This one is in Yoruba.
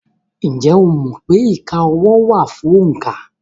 Ǹjẹ́ o mọ̀ pé ìka ọwọ́ wà fún òǹkà?